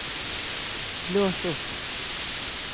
lås opp